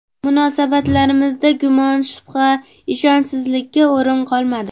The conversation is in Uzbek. Munosabatlarimizda gumon, shubha, ishonchsizlikka o‘rin qolmadi.